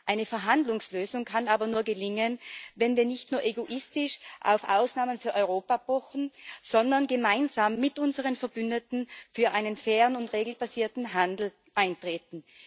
Eine Verhandlungslösung kann aber nur gelingen, wenn wir nicht nur egoistisch auf Ausnahmen für Europa pochen, sondern gemeinsam mit unseren Verbündeten für einen fairen und regelbasierten Handel eintreten.